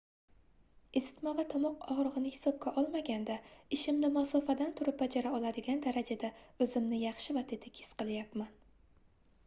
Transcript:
isitma va tomoq ogʻrigʻini hisobga olmaganda ishimni masofadan turib bajara oladigan darajada oʻzimni yaxshi va tetik his qilyapman